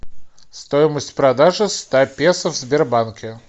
стоимость продажи ста песо в сбербанке